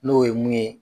N'o ye mun ye